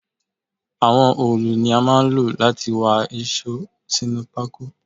Àwọn òòlù ni a máa ń lò láti wá íṣo sínú pako